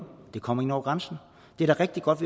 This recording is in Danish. det kommer ind over grænsen det er da rigtig godt